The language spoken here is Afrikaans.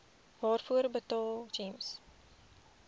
waarvoor betaal gems